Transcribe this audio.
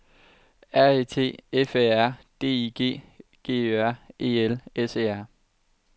R E T F Æ R D I G G Ø R E L S E R